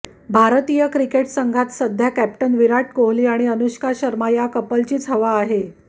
भारतीय क्रिकेट संघात सध्या कॅप्टन विराट कोहली आणि अनुष्का शर्मा या कपलचीच हवा आहे